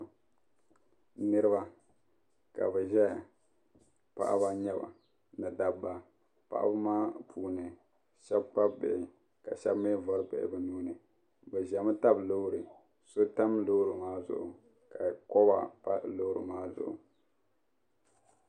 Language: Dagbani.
Niriba ka bi ʒeya paɣaba n nyaba ni dabba paɣabi maa puuni shɛbi kpabi bihi ka shɛbi mi vari bihi bi nuuni bɛ ʒemi tabi loori so tam loori maa zuɣu ka koba pa loori maa zuɣu.